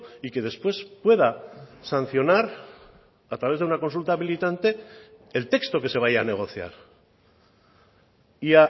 y que después pueda sancionar a través de una consulta habilitante el texto que se vaya a negociar y